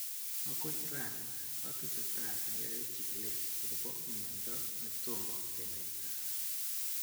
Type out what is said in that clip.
"Akoi raani , atesetai ayae chikilet akobo myandoo netomo kenaitaa